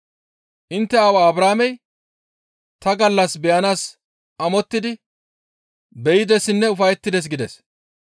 Intte aawaa Abrahaamey ta gallas beyanaas amottidi be7idessinne ufayettides» gides.